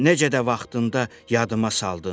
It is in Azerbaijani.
Necə də vaxtında yadıma saldın?